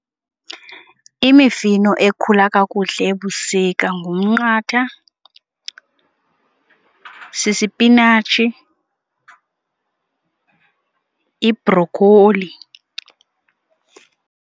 Imifino ekhula kakuhle ebusika ngumnqatha, sisipinatshi, ibhrokholi.